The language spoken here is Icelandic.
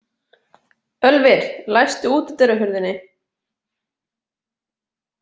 Ölvir, læstu útidyrahurðinni.